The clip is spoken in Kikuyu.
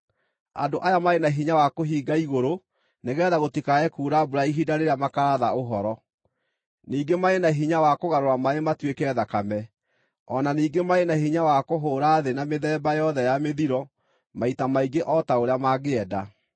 Andũ aya marĩ na hinya wa kũhinga igũrũ nĩgeetha gũtikae kuura mbura ihinda rĩrĩa makaaratha ũhoro; ningĩ marĩ na hinya wa kũgarũra maaĩ matuĩke thakame. O na ningĩ marĩ na hinya wa kũhũũra thĩ na mĩthemba yothe ya mĩthiro maita maingĩ o ta ũrĩa mangĩenda.